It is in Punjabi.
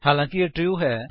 ਹਾਲਾਂਕਿ ਇਹ ਟਰੂ ਹੈ